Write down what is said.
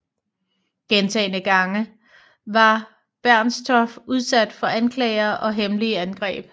Gentagne gange var Bernstorff udsat for anklager og hemmelige angreb